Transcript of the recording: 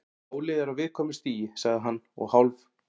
Málið er á viðkvæmu stigi- sagði hann og hálf